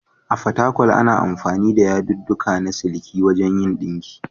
A Fatakwal, ana amfani da yadudduka na siliki wajen yin ɗinki.